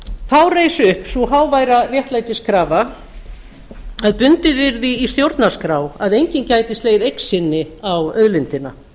þá reis upp sú háværa réttlætiskrafa að bundið yrði í stjórnarskrá að enginn gæti slegið eign sinni á auðlindina